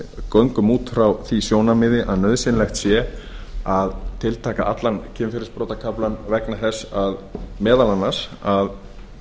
göngum út frá því sjónarmiði að nauðsynlegt sé að tiltaka allan kynferðisbrotakaflann vegna þess meðal annars að